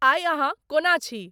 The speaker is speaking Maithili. आई अहां कओना छि ?